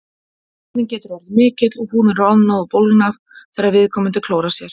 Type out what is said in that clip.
Kláðinn getur orðið mikill og húðin roðnað og bólgnað þegar viðkomandi klórar sér.